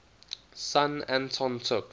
son anton took